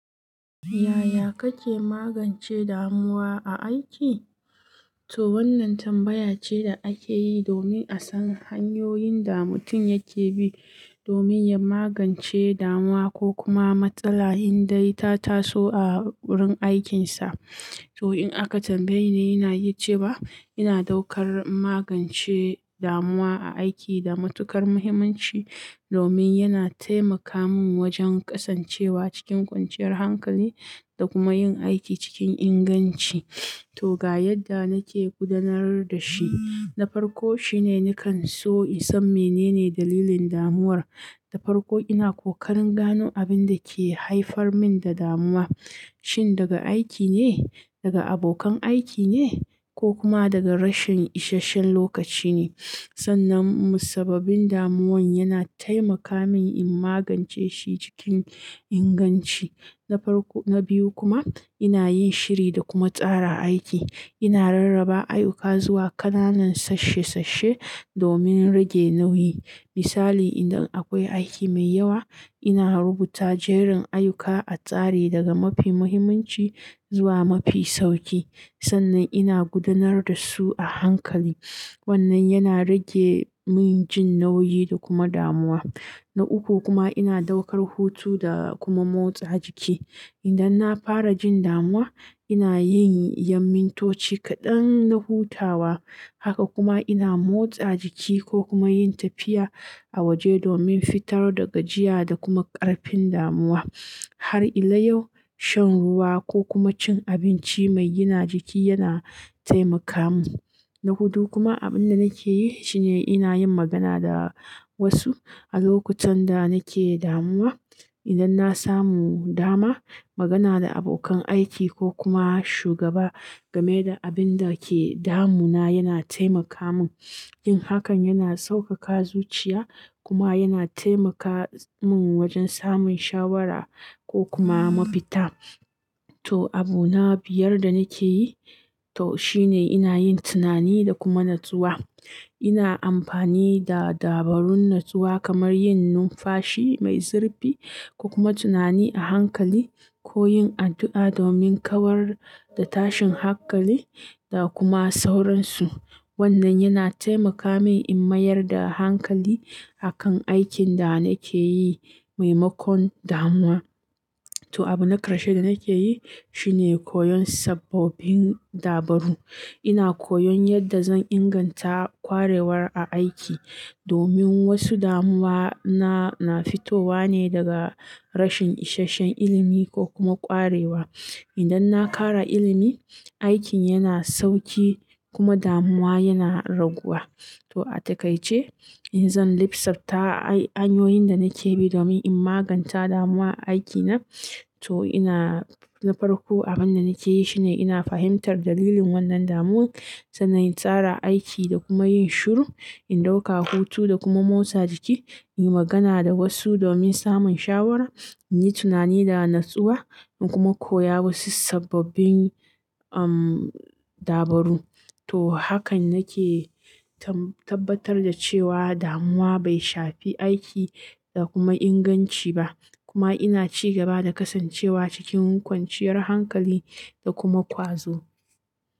Yaya kake magance damuwa a aiki? To wannan tambaya ce da ake yi domin a san hanyoyin da mutum yake bi domin ya magance damuwa ko kuma matsala indai ta taso a wurin aikinsa. To in aka tambaye ni, ina iya cewa ba ina ɗaukar magance damuwa a aiki da matukar muhimmanci domin yana taimaka min wajen kasancewa cikin kwanciyar hankali da kuma yin aiki cikin inganci. To ga yadda nake gudanar da shi. Na farko shine nakan so in san menene dalilin damuwar. Na farko ina kokarin gano abin da ke haifar min da damuwa, shin daga aiki ne, daga abokan aiki ne ko kuma daga rashin isasshen lokaci ne. Sannan musabbabin damuwan yana taimaka min in magance shi cikin inganci. Na farko na biyu kuma ina yin shiri da kuma tsara aiki. Ina rarraba ayyuka zuwa ƙananan sashe-sashe domin rage nauyi. Misali, idan akwai aiki mai yawa, ina rubuta jerin ayyuka a tsari daga mafi mahimmanci zuwa mafi sauƙi sannan ina gudanar da su a hankali. Wannan yana rage min jin nauyi da kuma damuwa. Na uku kuma ina ɗaukar hutu da kuma motsa jiki. Idan na fara jin damuwa, ina yin ya'mintoci kaɗan na hutawa. Haka kuma ina motsa jiki ko kuma yin tafiya a waje domin fitar da gajiya da kuma ƙarfin damuwa. Har ila yau shan ruwa ko kuma cin abinci mai gina jiki yana taimakamin. Na hudu kuma abunda nakeyi shine ina yin magana da wasu alokacin da nake damuwa idan na samu dama, magana da abokan aiki ko kuma shugaba game da abin da ke damuna yana taimaka min. Yin hakan yana saukaka zuciya kuma yana taimaka min wajen samun shawara ko kuma mafita. To abu na biyar da nake yi to shine ina yin tunani da kuma natsuwa. Ina amfani da dabarun natsuwa kamar yin numfashi mai zurfi ko kuma tunani a hankali ko yin addu'a domin kawar da tashin hankali da kuma sauransu. Wannan yana taimaka min in mayar da hankali akan aikin da nake yi maimakon damuwa. To abu na ƙarshe da nake yi shine koyon sababbin dabaru. Ina koyon yadda zan inganta kwarewar a aiki domin wasu damuwa na, na fitowa ne daga rashin isasshen ilimi ko kuma ƙwarewa. Idan na ƙara ilimi, aikin yana sauƙi kuma damuwa yana raguwa. To a takaice, in zan lissafta ay-hanyoyin da nake bi domin in maganta damuwa a aikina, to ina na farko abin da nake yi shine ina fahimtar dalilin wannan damuwan, sannan tsara aiki da kuma yin shiru, in ɗauka hutu da kuma motsa jiki, yi magana da wasu domin samun shawara, in yin tunani da natsuwa, in kuma koya wasu sababbin, um, dabaru. To hakan nake tam- tabbatar da cewa damuwa bai shafi aiki da kuma inganci ba. Kuma ina ci gaba da kasancewa cikin kwanciyar hankali da kuma ƙwazo.